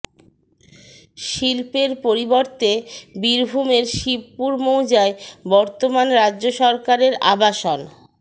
শিল্পের পরিবর্তে বীরভূমের শিবপুর মৌজায় বর্তমান রাজ্য সরকারের আবাসন